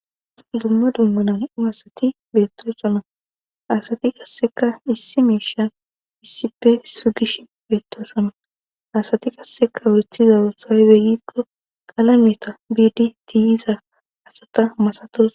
dumma dumma nam7u asati bettosona asati kasseka issi miisha issipfe sugish beettosonna asati kasseka wurethizawo sawe begikko qalameta biidi tiyiza hasata masatos